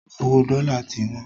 Owó dọ́la ti wọ́n